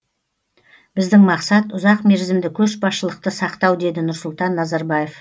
біздің мақсат ұзақмерзімді көшбасшылықты сақтау деді нұрсұлтан назарбаев